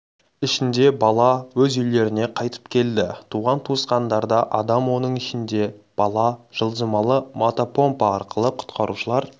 ішінде бала өз үйлеріне қайтып келді туған-туысқандарда адам оның ішінде бала жылжымалы мотопомпа арқылы құтқарушылар